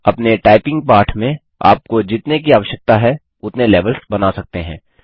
अपने टाइपिंग पाठ में आप को जितने की आवश्यकता है उतने लेवल्स बना सकते हैं